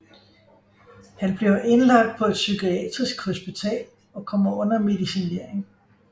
Han bliver indlagt på et psykiatrisk hospital og kommer under medicinering